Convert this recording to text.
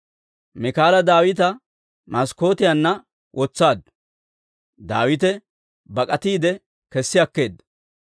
Miikaala Daawita maskkootiyaanna wotsaaddu; Daawite bak'atiide kessi akkeedda.